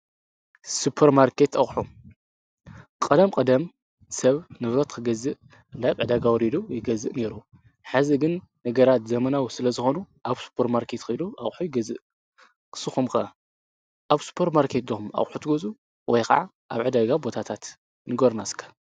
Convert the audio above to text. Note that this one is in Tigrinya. ሱጰር ማርከት ኣኁ ቐደም ቀደም ሰብ ንብሮት ክገዝእ ላብዕደጋውሪዱ ይገዝእ ነይሩ ሕዚ ግን ነገራት ዘመናዊ ስለ ዝኾኑ ኣብ ስጰር ማርከት ኺዱ ኣብሒ ኣይገዝእ ክስኹምቀ ኣብ ስጰር ማርከት ዶኹም ኣብኁት ጐዙ ወይ ኸዓ ኣብ ዕደጋብ ቦታታት ንጐርናስከ።